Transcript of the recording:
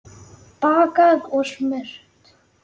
Bakað og smurt.